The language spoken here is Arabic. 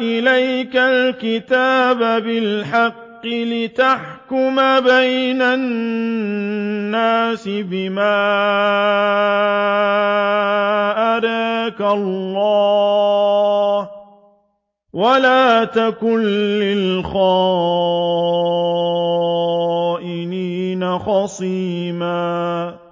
إِلَيْكَ الْكِتَابَ بِالْحَقِّ لِتَحْكُمَ بَيْنَ النَّاسِ بِمَا أَرَاكَ اللَّهُ ۚ وَلَا تَكُن لِّلْخَائِنِينَ خَصِيمًا